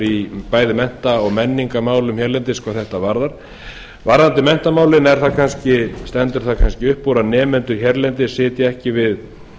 í bæði mennta og menningarmálum hérlendis hvað þetta varðar varðandi menntamálin stendur það kannski upp úr að nemendur hér á landi sitja ekki við